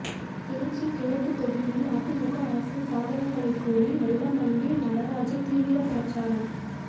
திருச்சி கிழக்கு தொகுதியில் அதிமுக அரசின் சாதனைகளை கூறி வெல்லமண்டி நடராஜன் தீவிர பிரசாரம்